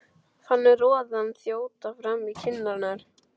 Fann roðann þjóta fram í kinnarnar.